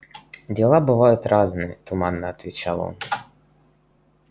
дела бывают разные туманно отвечл он